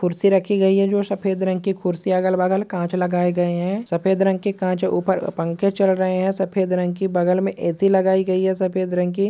कुर्सी रखी गई है जो सफेद रंग की कुर्सियां। अगल बगल कांच लगाए गए हैं सफेद रंग के कांच के ऊपर पंखा चल रहे हैं सफेद रंग की। बगल में ऐ.सी. लगाई गई है सफेद रंग की।